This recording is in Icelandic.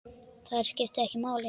Þær skiptu máli.